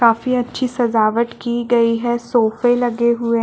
काफी अच्छी सजावट की गई है सोफे लगे हुए --